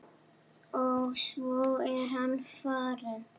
Og svo er hann farinn.